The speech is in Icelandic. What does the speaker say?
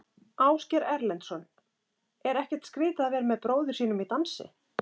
Ásgeir Erlendsson: Er ekkert skrítið að vera með bróður sínum í dansi?